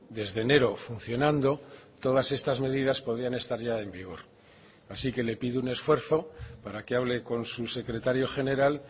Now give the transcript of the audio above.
desde enero funcionando todas estas medidas podían estar ya en vigor así que le pido un esfuerzo para que hable con su secretario general